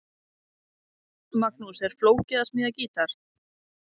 Magnús: Er flókið að smíða gítar?